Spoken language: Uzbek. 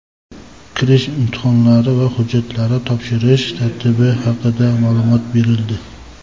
kirish imtihonlari va hujjatlar topshirish tartibi haqida ma’lumot berildi.